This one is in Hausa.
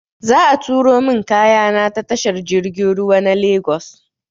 Za a turo min kayana ta tashar jirgin ruwa na Lagos.